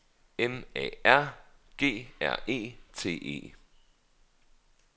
M A R G R E T E